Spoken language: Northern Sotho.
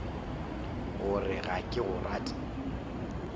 gore ga ke go rate